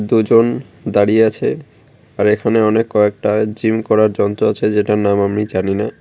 দুজন দাঁড়িয়ে আছে আর এখানে অনেক কয়েকটা জিম করার যন্ত্র আছে যেটার নাম আমি জানিনা।